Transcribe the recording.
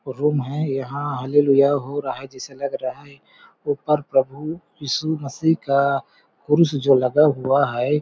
Room है यहाँ hallelujah हो रहा है जैसे लग रहा है ऊपर प्रभु ईशु मसीह का क्रुश जो लगा हुआ है।